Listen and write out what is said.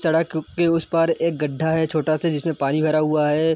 सड़क के उस पार एक गड्डा है छोटा सा जिसमें पानी भरा हुआ है।